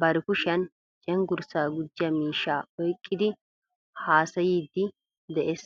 bari kushiyaan cenggurssa gujiyaa miishshaa oyqqidi haassayidde de'ees.